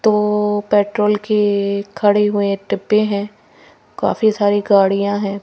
तोपेट्रोल केखड़े हुएडिब्बे हैं काफी सारी गाड़ियां हैं।